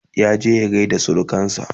ya je ya gaida surukansa